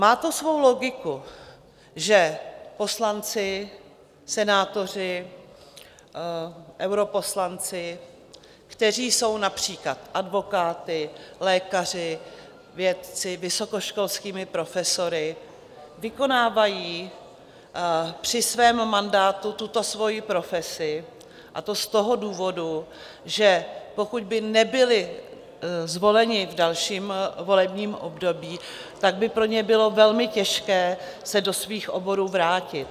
Má to svou logiku, že poslanci, senátoři, europoslanci, kteří jsou například advokáty, lékaři, vědci, vysokoškolskými profesory, vykonávají při svém mandátu tuto svoji profesi, a to z toho důvodu, že pokud by nebyli zvoleni v dalším volebním období, tak by pro ně bylo velmi těžké se do svých oborů vrátit.